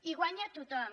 hi guanya tothom